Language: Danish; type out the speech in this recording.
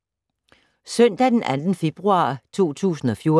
Søndag d. 2. februar 2014